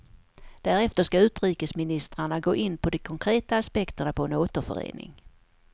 Därefter ska utrikesministrarna gå in på de konkreta aspekterna på en återförening.